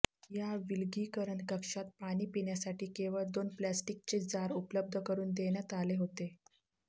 या विलगीकरण कक्षात पाणी पिण्यासाठी केवळ दोन प्लॅस्टीकचे जार उपलब्ध करून देण्यात आले होते